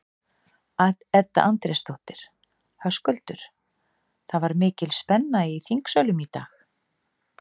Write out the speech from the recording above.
Edda Andrésdóttir: Höskuldur, það var mikil spenna í þingsölum í dag?